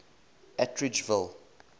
atteridgeville